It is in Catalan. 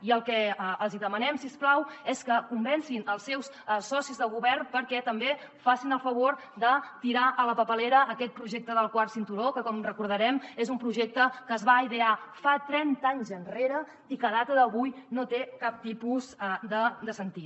i el que els hi demanem si us plau és que convencin els seus socis de govern perquè també facin el favor de tirar a la paperera aquest projecte del quart cinturó que com recordarem és un projecte que es va idear fa trenta anys enrere i que a data d’avui no té cap tipus de sentit